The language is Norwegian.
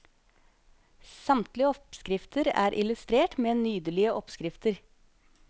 Samtlige oppskrifter er illustrert med nydelige oppskrifter.